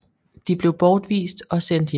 De blev bortvist og sendt hjem